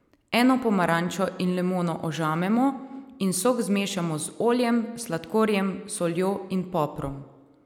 Eno pomarančo in limono ožamemo in sok zmešamo z oljem, sladkorjem, soljo in poprom.